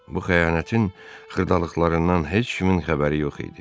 Bu xəyanətin xırdalıqlarından heç kimin xəbəri yox idi.